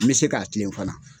N bɛ se k'a tile fana.